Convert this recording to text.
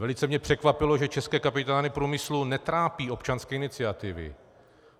Velice mě překvapilo, že české kapitány průmyslu netrápí občanské iniciativy.